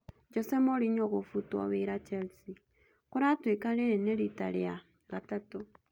Jose Mourinho gũbutwo wĩra Chelsea. Kũratuĩka rĩrĩ nĩ rita rĩa gatatũ